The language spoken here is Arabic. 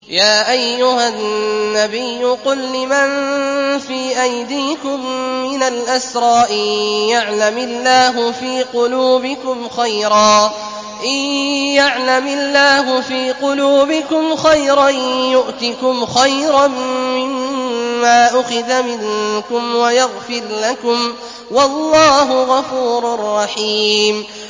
يَا أَيُّهَا النَّبِيُّ قُل لِّمَن فِي أَيْدِيكُم مِّنَ الْأَسْرَىٰ إِن يَعْلَمِ اللَّهُ فِي قُلُوبِكُمْ خَيْرًا يُؤْتِكُمْ خَيْرًا مِّمَّا أُخِذَ مِنكُمْ وَيَغْفِرْ لَكُمْ ۗ وَاللَّهُ غَفُورٌ رَّحِيمٌ